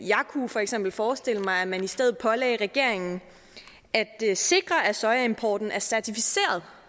kunne for eksempel forestille mig at man i stedet pålagde regeringen at sikre at sojaimporten er certificeret